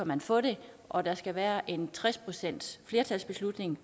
man få det og der skal være en tres procentsflertalsbeslutning